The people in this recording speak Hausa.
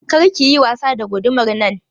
Kar ki yi wasa da gudumar nan!